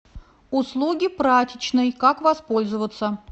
услуги прачечной как воспользоваться